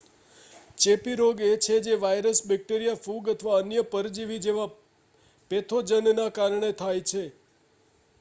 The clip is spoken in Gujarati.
ચેપી રોગ એ છે જે વાઇરસ બૅક્ટેરિયા ફૂગ અથવા અન્ય પરજીવી જેવા પૅથોજનના કારણે થાય છે